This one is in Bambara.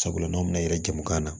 Sabula n'aw bɛna yɛrɛ jamu kan